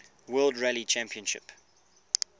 world rally championship